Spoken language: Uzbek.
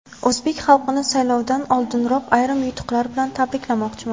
O‘zbek xalqini saylovdan oldinoq ayrim yutuqlar bilan tabriklamoqchiman.